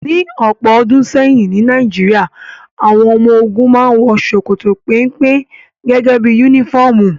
Ní ọ̀pọ̀ ọdún sẹ́yìn ní Nàìjíríà, àwọn ọmọ ogun màa ǹ wọ ṣokoto pénpé gẹ́gẹ́ bí unifọmú